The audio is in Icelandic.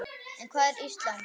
En hvað er Ísland?